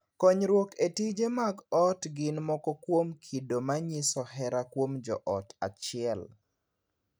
Kuonyruok e tije mag ot gin moko kuom kido ma nyiso hera kuom joot achiel.